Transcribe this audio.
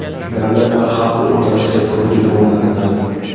davlat va xalq o‘rtasida ko‘prik o‘rnatiladi.